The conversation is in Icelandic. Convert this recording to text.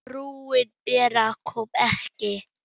Frúin Bera kom ekki.